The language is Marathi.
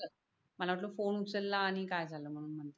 मला वाटल फोन उचलला आणि काय झाल मग नंतर